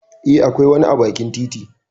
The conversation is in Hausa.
Eh, akwai wani a bakin titi.